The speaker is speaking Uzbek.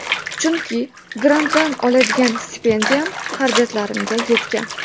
Chunki grantdan oladigan stipendiyam xarajatlarimga yetgan.